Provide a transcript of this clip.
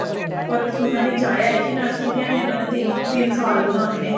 or ਸੁਣਨ ਵਿਚ ਆਇਆ ਕੀ nursery ਦੀ ਵੀ ਇਹਨਾ ਨੇ ਤਿੰਨ ਤਿੰਨ ਸਾਲ ਵਧਾਨੇ ਨੇ